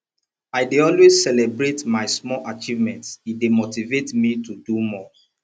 i dey always celebrate my small achievements e dey motivate me to do more